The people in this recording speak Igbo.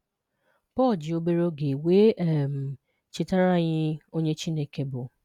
Paul ji obere oge weé um chetara anyị onye Chineke bụ